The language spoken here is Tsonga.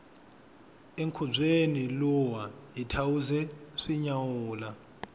enkhubyeni luwa hi thawuze swi nyawula